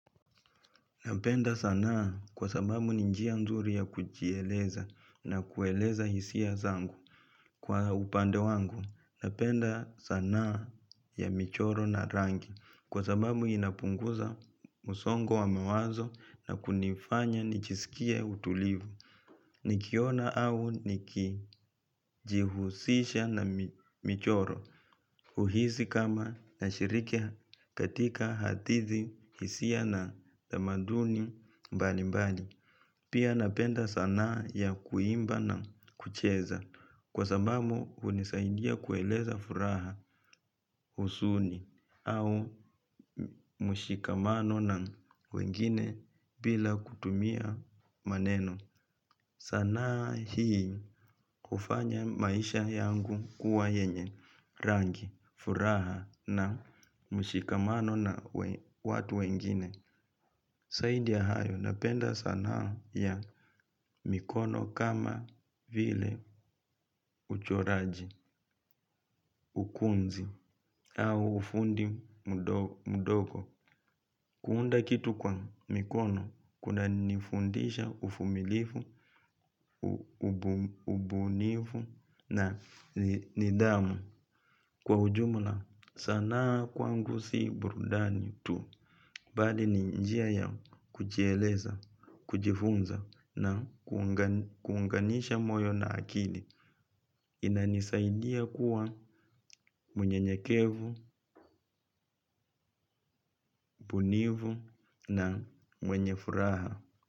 Napenda saana kwa sababu ni njia nzuri ya kujieleza na kueleza hisia zangu kwa upande wangu. Napenda saana ya michoro na rangi kwa sababu inapunguza musongo wa mawazo na kunifanya nijisikia utulivu. Nikiona au nikijihusisha na michoro uhisi kama na shiriki katika hadithi, hisia na tamaduni mbalimbali pia napenda saana ya kuimba na kucheza kwa sababu hunisaindia kueleza furaha, uzuni au mushikamano na wengine bila kutumia maneno. Saana hii kufanya maisha yangu kuwa yenye rangi, furaha na mshikamano na watu wengine zaidi ya hayo napenda saana ya mikono kama vile uchoraji, ukunzi au ufundi mdogo. Kuunda kitu kwa mikono, kuna nifundisha uvumilifu, ubunifu na nidhamu. Kwa ujumla, sana kwangu si burudani tu. Bali ni njia ya kujieleza, kujifunza na kuunganisha moyo na akili. Inanisaidia kuwa munyenyekevu, bunifu na mwenye furaha.